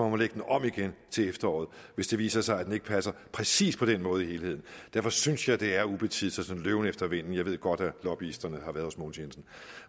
må lægge den om igen til efteråret hvis det viser sig at den ikke passer præcis på den måde i helheden derfor synes jeg det er ubetids og en sådan løben efter vinden jeg ved godt at lobbyisterne har været hos herre mogens jensen